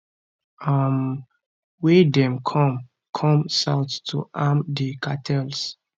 um wey dem come come south to arm di cartels